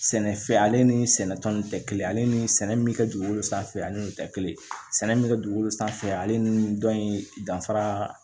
Sɛnɛfɛn ale ni sɛnɛ tɔn in tɛ kelen ale ni sɛnɛ min mi kɛ dugukolo sanfɛ ale de bi kɛ kelen ye sɛnɛ min be kɛ dugukolo sanfɛ ale ni dɔn in danfara